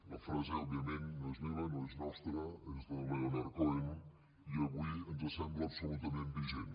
la frase òbviament no és meva no és nostra és de leonard cohen i avui ens sembla absolutament vigent